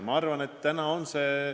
See pind saab olla ainult see.